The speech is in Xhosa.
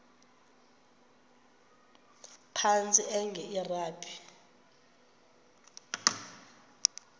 phantsi enge lrabi